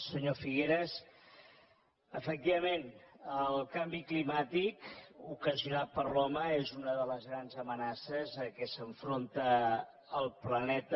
senyor figueras efectivament el canvi climàtic ocasionat per l’home és una de les grans amenaces a què s’enfronta el planeta